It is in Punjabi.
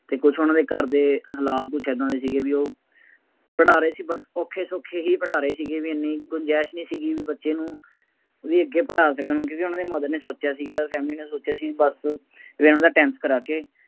ਅਤੇ ਕੁੱਛ ਉਹਨਾ ਦੇ ਘਰ ਦੇ ਹਾਲਾਤ ਕੁੱਛ ਏਦਾਂ ਦੇ ਸੀਗੇ ਬਈ ਉਹ ਪੜ੍ਹਾ ਰਹੇ ਸੀ but ਉਹ ਔਖੇ ਸੌਖੇ ਹੀ ਪੜ੍ਹਾ ਰਹੇ ਸੀਗੇ ਬਈ ਐਨੀ ਗੁੰਜ਼ਾਇਸ਼ ਨਹੀਂ ਸੀਗੀ ਬਈ ਬੱਚੇ ਨੂੰ ਬਈ ਅੱਗੇ ਪੜ੍ਹਾ ਸਕਣ, ਕਿਉਂਕਿ ਉਹਨਾ ਦੇ mother ਨੇ ਸੋਚਿਆ ਸੀਗਾ family ਨੇ ਸੋਚਿਆ ਸੀ ਬੱਸ ਇਹਨੂੰ ਤਾਂ tenth ਕਰਾ ਕੇ,